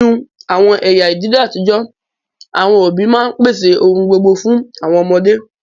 Ninu awọn ẹya idile atijọ, awọn obi ma n pese ohun gbogbo fun awọn ọmọde